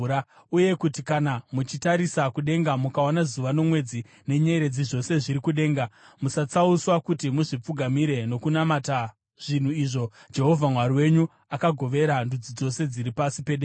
Uye kuti kana muchitarisa kudenga mukaona zuva, nomwedzi nenyeredzi, zvose zviri kudenga, musatsauswa kuti muzvipfugamire nokunamata zvinhu izvo Jehovha Mwari wenyu akagovera ndudzi dzose dziri pasi pedenga.